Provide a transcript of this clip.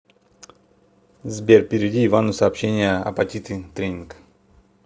сбер переведи ивану сообщение апатиты тренинг